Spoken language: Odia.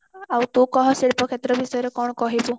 ଆଉ ତୁ କହ ଶିଳ୍ପ କ୍ଷେତ୍ର ବିଷୟରେ କଣ କହିବୁ